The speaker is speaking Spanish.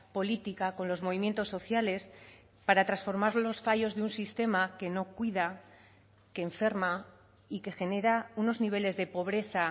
política con los movimientos sociales para transformar los fallos de un sistema que no cuida que enferma y que genera unos niveles de pobreza